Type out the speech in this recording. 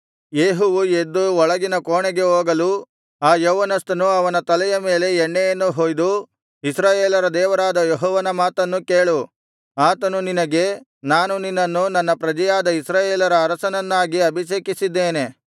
ಯೇಹುವು ಎದ್ದು ಒಳಗಿನ ಕೋಣೆಗೆ ಹೋಗಲು ಆ ಯೌವನಸ್ಥನು ಅವನ ತಲೆಯ ಮೇಲೆ ಎಣ್ಣೆಯನ್ನು ಹೊಯ್ದು ಇಸ್ರಾಯೇಲರ ದೇವರಾದ ಯೆಹೋವನ ಮಾತನ್ನು ಕೇಳು ಆತನು ನಿನಗೆ ನಾನು ನಿನ್ನನ್ನು ನನ್ನ ಪ್ರಜೆಯಾದ ಇಸ್ರಾಯೇಲರ ಅರಸನನ್ನಾಗಿ ಅಭಿಷೇಕಿಸಿದ್ದೇನೆ